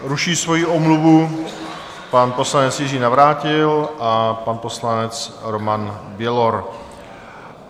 Ruší svoji omluvu pan poslanec Jiří Navrátil a pan poslanec Roman Bělor.